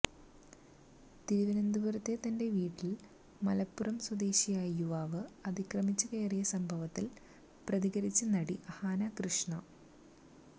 തിരുവനന്തപുരത്തെ തന്റെ വീട്ടിൽ മലപ്പുറം സ്വദേശിയായ യുവാവ് അതിക്രമിച്ച് കയറിയ സംഭവത്തിൽ പ്രതികരിച്ച് നടി അഹാന കൃഷ്ണ